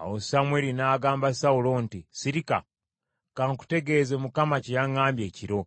Awo Samwiri n’agamba Sawulo nti, “Sirika! Ka nkutegeeze Mukama kye yaŋŋambye ekiro.”